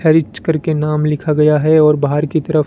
खारिच करके नाम लिखा गया है और बाहर की तरफ--